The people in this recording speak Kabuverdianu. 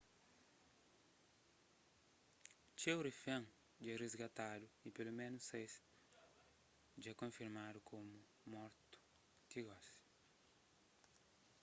txeu rifén dja risgatadu y peloménus sais dja konfirmadu komu mortu ti gosi